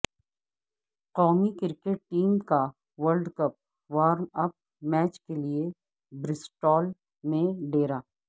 قومی cricket team کا world cup warm up match کیلئے برسٹول میں ڈیرہ